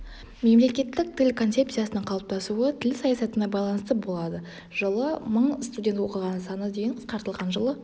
мемлекеттік тіл концепциясының қалыптасуы тіл саясатына байланысты болады жылы мың студент оқыған саны дейін қысқартылған жылы